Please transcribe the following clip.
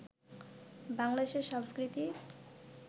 বাংলাদেশের সাংস্কৃতিক